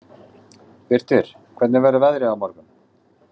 Birtir, hvernig verður veðrið á morgun?